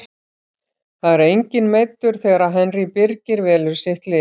Það er enginn meiddur þegar Henry Birgir velur sitt lið.